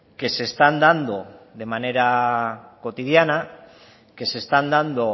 que se están dando de manera cotidiana que se están dando